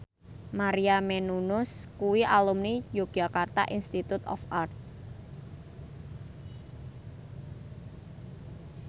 Maria Menounos kuwi alumni Yogyakarta Institute of Art